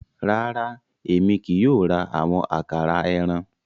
Rara, Èmi kìí yóò ra awọn àkàrà ẹran